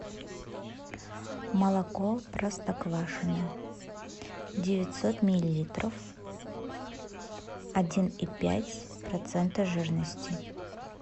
молоко простоквашино девятьсот миллилитров один и пять процента жирности